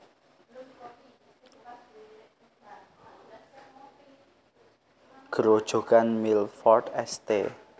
Grojogan Milford St